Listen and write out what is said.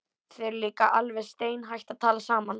Þið eruð líka alveg steinhætt að tala saman.